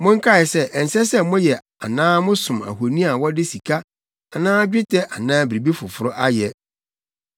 Monkae sɛ ɛnsɛ sɛ moyɛ anaa mosom ahoni a wɔde sika anaa dwetɛ anaa biribi foforo ayɛ.